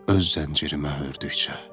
Öz zəncirimə hördükcə.